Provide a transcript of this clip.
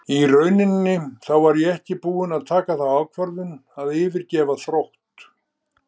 Í rauninni þá var ég ekki búinn að taka þá ákvörðun að yfirgefa Þrótt.